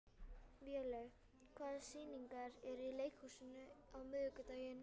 Vélaug, hvaða sýningar eru í leikhúsinu á miðvikudaginn?